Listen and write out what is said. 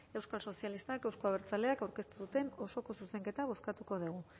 euskal sozialistak euzko abertzaleak aurkeztu duten osoko zuzenketa bozkatuko dugu